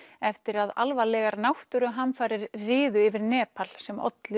eftir að alvarlegar náttúruhamfarir riðu yfir Nepal sem olli